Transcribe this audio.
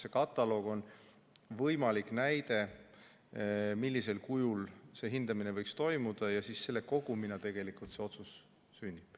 See kataloog on võimalik näide, millisel kujul see hindamine võiks toimuda, ja selle kogumina tegelikult see otsus sünnib.